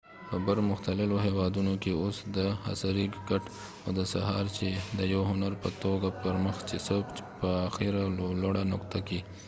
په بر مختللو هیوادونو کې اوس د عصری کټ او د سهار چای د یو هنر په توګه پر مخ څی په آخری او لوړه نقطه کې